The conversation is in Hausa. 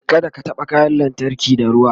kada ka taɓa kayan lantarki da ruwa